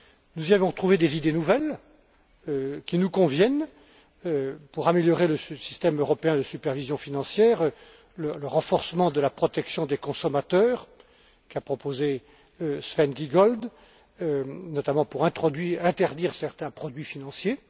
Nous y avons trouvé des idées nouvelles, qui nous conviennent, pour améliorer ce système européen de supervision financière, ainsi que le renforcement de la protection des consommateurs qu'a proposé Sven Giegold, notamment pour interdire certains produits financiers.